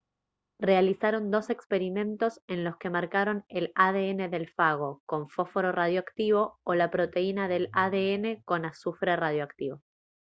realizaron dos experimentos en los que marcaron el adn del fago con fósforo radioactivo o la proteína del adn con azufre radioactivo